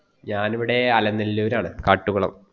ഞാൻ ഇവിടെ അലനല്ലൂര്‍ ആണ് കാട്ടുകുളം